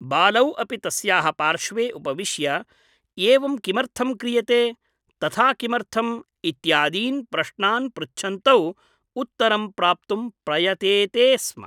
बालौ अपि तस्याः पार्श्वे उपविश्य ' एवं किमर्थं क्रियते , तथा किमर्थम् ' इत्यादीन् प्रश्नान् पृच्छन्तौ उत्तरं प्राप्तुं प्रयतेते स्म ।